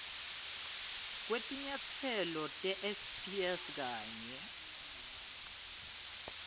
kwetinyatselo tesps kanye